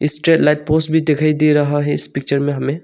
Straight light post भी दिखाई दे रहा है इस पिक्चर में हमें।